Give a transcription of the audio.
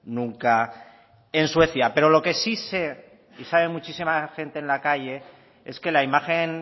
nunca en suecia pero lo que sí sé y sabe muchísima gente en la calle es que la imagen